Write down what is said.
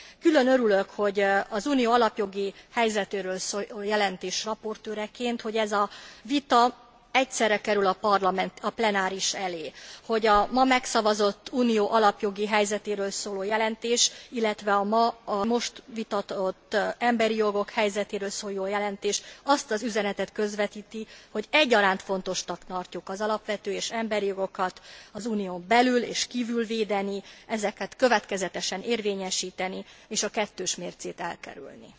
Külön örülök, az Unió alapjogi helyzetéről szóló jelentés raportőreként, hogy ez a vita egyszerre kerül a Parlament plenárisa elé, hogy a ma megszavazott, Unió alapjogi helyzetéről szóló jelentés, illetve a most vitatott emberi jogok helyzetéről szóló jelentés azt az üzenetet közvetíti, hogy egyaránt fontosnak tartjuk az alapvető és emberi jogokat az Unión belül és kívül védeni, ezeket következetesen érvényesíteni és a kettős mércét elkerülni.